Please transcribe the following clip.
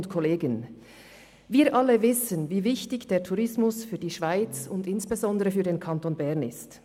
Wir alle wissen, wie wichtig der Tourismus für die Schweiz und insbesondere für den Kanton Bern ist.